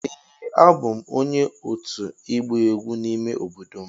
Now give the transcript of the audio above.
Ee a bụ m onye otu igba egwu n'ime obodo m.